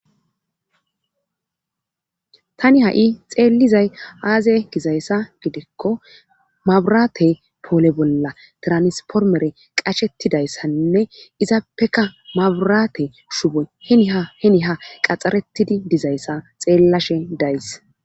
tani ha7i xeellizay aaze gizayssa gidikko maburate poole bolla tiranspormere qashettidayssainne izaappeka maburaate shuboy heniha qaxxaretidi dizayssa xeellashe days